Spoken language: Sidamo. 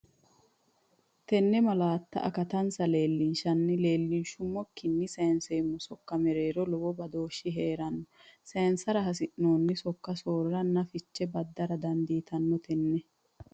Tenne malaatta akattansa leellinshenna leellinshummo ikkinni sayinseemmo sokka mereero lowo badooshshi hee’ranna sayinsara hasi’noonni sok- soorraranna fiche badara dandaanno Tenne.